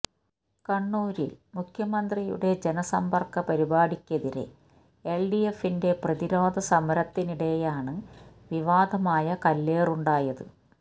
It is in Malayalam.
കണ്ണൂരില് മുഖ്യമന്ത്രിയുടെ ജനസമ്പര്ക്ക പരിപാടിക്കെതിരെ എല്ഡിഎഫിന്റെ പ്രതിരോധ സമരത്തിനിടെയാണ് വിവാദമായ കല്ലേറുണ്ടായത്